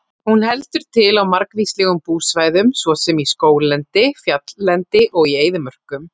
Hún heldur til á margvíslegum búsvæðum svo sem í skóglendi, fjalllendi og í eyðimörkum.